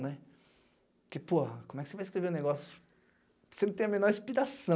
né. Porque, porra, como é que você vai escrever um negócio se não tem a menor inspiração?